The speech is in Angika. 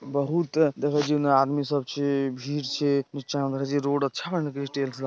बहुत देखो उन्ने आदमी सब छे भीड़ छे जितना मर्ज़ी रोड अच्छा लगे --